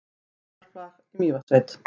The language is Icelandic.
Bjarnarflagi í Mývatnssveit.